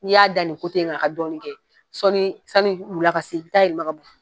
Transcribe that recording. N'i y'a da nin in ka ka dɔɔnin kɛ sɔnni sani wula ka se, i bi taa yɛlɛma ka bon yen.